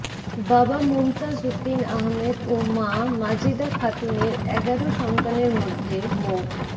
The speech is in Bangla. বাবা মোমতাজ উদ্দীন আহমেদ ও মা মাজেদা খাতুনের এগারো সন্তানের মধ্যে মো